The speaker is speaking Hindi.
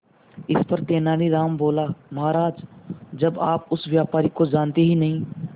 इस पर तेनालीराम बोला महाराज जब आप उस व्यापारी को जानते ही नहीं